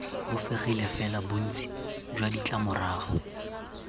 bofegile fela bontsi jwa ditlamorago